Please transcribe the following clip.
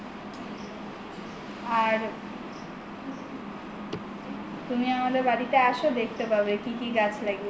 আর তুমি আমাদের বাড়িতে এসো দেখতে পাবে কি কি গাছ লাগিয়েছি